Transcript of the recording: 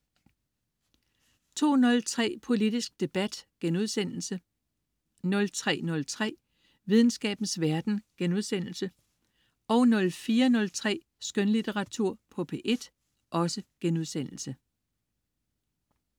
02.03 Politisk debat* 03.03 Videnskabens verden* 04.03 Skønlitteratur på P1*